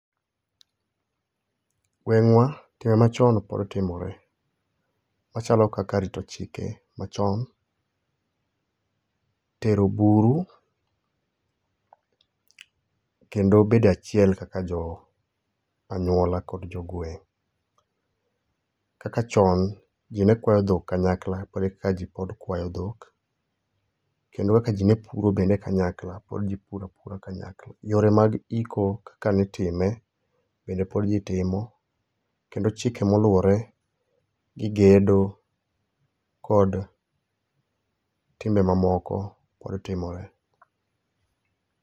Gwengwa timbe ma chon pod timore ma chalo kaka rito chike ma chon tero buru kendo bedo e achiel kaka jo anyuola kod jo gweng kaka chon ji ne kwayo dhok kanyakla pod e kaka ji kwayo dhok kendo kaka ji ne puro kanyakla pod ji puro a pura kanyakla yore mag iko kaka ne i time bende pod ji timo kendo chike ma oluore gi gedo kod timbe ma moko pod timore